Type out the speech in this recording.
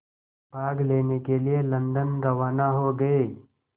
भाग लेने के लिए लंदन रवाना हो गए